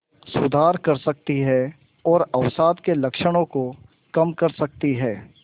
सुधार कर सकती है और अवसाद के लक्षणों को कम कर सकती है